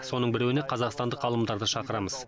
соның біреуіне қазақстандық ғалымдарды шақырамыз